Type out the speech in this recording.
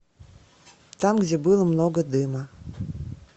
там где было много дыма